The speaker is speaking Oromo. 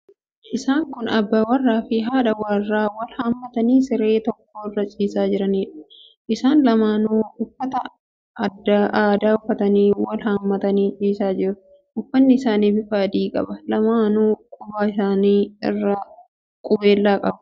Isaan kun abbaa warraafi haadha warraa wal hammatanii siree tokko irra ciisaa jiraniidha. Isaan lamaanuu uffata aadaa uffatanii wal hammatanii ciisanii jiru. Uffatni isaanii bifa adii qaba. Lamaanuu quba isaanii irraa qubeelaa qabu.